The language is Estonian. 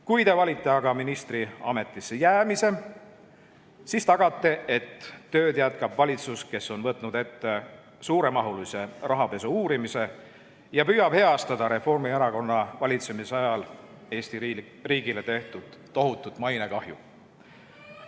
Kui te aga valite ministri ametisse jäämise, siis tagate, et tööd jätkab valitsus, kes on võtnud ette suuremahulise rahapesu uurimise ja püüab heastada Reformierakonna valitsemise ajal Eesti riigile tehtud tohutut mainekahju.